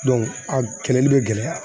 a kɛlɛli bɛ gɛlɛya